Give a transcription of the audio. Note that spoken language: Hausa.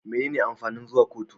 Menene amfanin zuwa kotu?